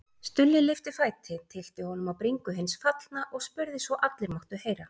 Stulli lyfti fæti, tyllti honum á bringu hins fallna og spurði svo allir máttu heyra